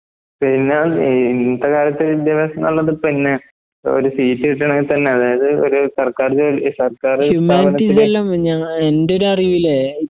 പിന്നെ ഇഇന്നത്തെകാലത്ത് വിദ്യാഭാസംന്നുള്ളത് പിന്നെ ഒര്സീറ്റുകിട്ട്കാണേതന്നെ അതായത് ഒര് സർക്കാർജോലി സർക്കാറ് സ്ഥാപനത്തില്